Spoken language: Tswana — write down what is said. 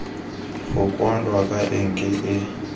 go kwalwa ka enke e